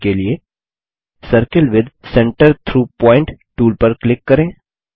यह करने के लिए circle with centre through point tool पर क्लिक करें